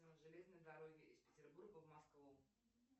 железной дороги из петербурга в москву